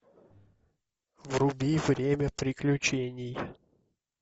вруби время приключений